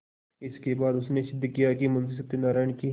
इसके बाद उसने सिद्ध किया कि मुंशी सत्यनारायण की